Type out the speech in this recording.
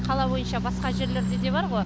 қала бойынша басқа жерлерде де бар ғой